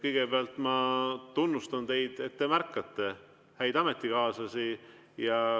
Kõigepealt ma tunnustan teid, et te märkate häid ametikaaslasi.